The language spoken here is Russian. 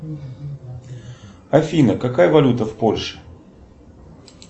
афина какая валюта в польше